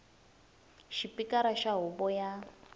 xa xipikara xa huvo ya